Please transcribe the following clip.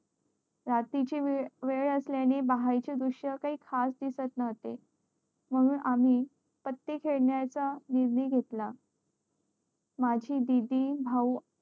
रात्री ची वेळ असल्या ने बाहेर चे दृश्य काही खास दिसत नव्हते म्हणून आम्ही पते खेळण्या चा निर्णय घेतला माझी दीदी भाऊ